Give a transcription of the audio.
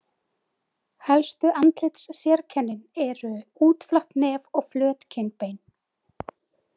Helstu andlitssérkennin eru útflatt nef og flöt kinnbein.